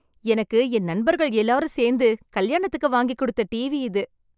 எனக்கு என் நண்பர்கள் எல்லாரும் சேர்ந்து கல்யாணத்துக்கு வாங்கி கொடுத்த டிவி இது.